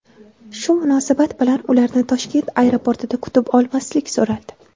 Shu munosabat bilan ularni Toshkent aeroportida kutib olmaslik so‘raldi.